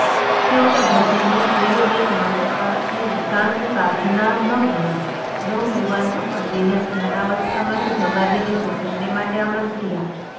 છેવટે ભોજનનો સુયોગ્ય સમય થતાં એણે શાંત સાધનામગ્ન નવયુવાન તપસ્વીને ધ્યાનાવસ્થામાંથી જગાડીને ભોજનને માટે આમંત્ર્યા